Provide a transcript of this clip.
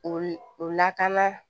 O o lakana